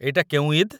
ଏଇଟା କେଉଁ ଇଦ୍‌?